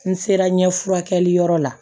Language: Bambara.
N sera ɲɛfulakɛli yɔrɔ la